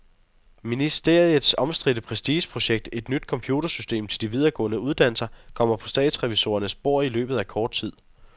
Ministeriets omstridte prestigeprojekt, et nyt computersystem til de videregående uddannelser, kommer på statsrevisorernes bord i løbet af kort tid.